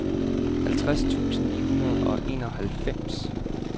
halvtreds tusind ni hundrede og enoghalvfems